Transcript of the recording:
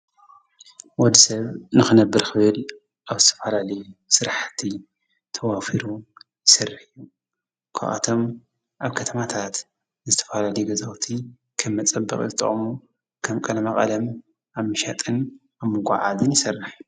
ወድ ሰብ ንኽነብር ኽቤል ኣብ ዝተፈላለዩ ሥራሕቲ ተዋፊሩ ይሠርሕ። ካብኣቶም ኣብ ከተማታት ዝተፈላለዩ ገዛውቲ ከም መጸብቕ ዘተቕሙ ከም ቀለማ ቐለም ኣምሻጥን ኣምጐዓድን ይሠራሕ።